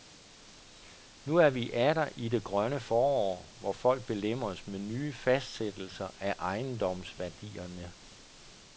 Nu er vi atter i det grønne forår, hvor folk belemres med nye fastsættelser af ejendomsværdierne.